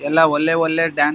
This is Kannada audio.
ಎಲ್ಲಾ ಒಲ್ಲೆ ಒಲ್ಲೆ ಡ್ಯಾನ್ಸ್ ಗಳು --